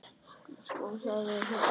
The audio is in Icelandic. Sko, það er hérna þannig.